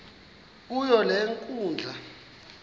kuyo le nkundla